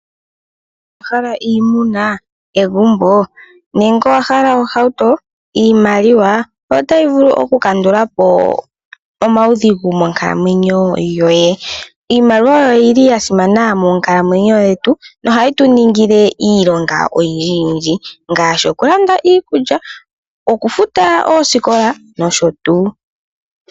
Owa hala iimuna, egumbo nenge owa hala ohauto? Iimaliwa ota yi vulu oku kandula po omaudhigu monkalamwenyo yoye. Iimaliwa oyo yili ya simana monkalamweyo yetu noha yi tu ningile iilonga oyindji yindji, ngaashi oku landa iikulya, oku futa oosikola nsh.